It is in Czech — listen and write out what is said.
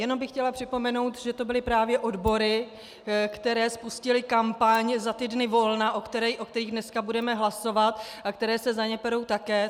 Jenom bych chtěla připomenout, že to byly právě odbory, které spustily kampaň za ty dny volna, o kterých dneska budeme hlasovat, a které se za ně perou také.